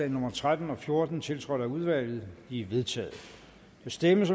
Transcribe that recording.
nummer tretten og fjorten tiltrådt af udvalget de er vedtaget der stemmes